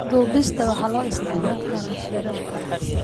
Duubista waxaa loo isticmaali karaa shirarka.